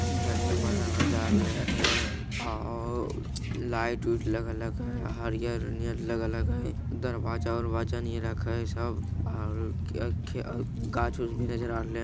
जननी मर्दाना जाय रहले रहे हेय ओ लाइट - उइट लगल हके हरियर-हरियर लगल हके दरवाजा-उरवाजा नियन लखे हेय सब आर गाछ-उच्छ भी नजर आ रहले।